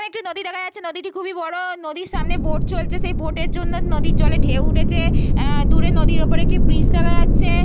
একটি নদী। দেখা দেখা যাচ্ছে। নদীটি খুবই বড়। নদীর সামনে একটি বোট চলছে। সেই বোট -এর জন্য নদীর জলে ঢেউ উঠেছে। এহ দূরে নদীর ওপরে ব্রিজ দেখা যাচ্ছে।